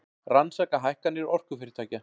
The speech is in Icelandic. Rannsaka hækkanir orkufyrirtækja